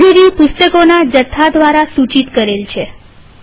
library પુસ્તકોના જથ્થા દ્વારા સૂચિત કરેલ છે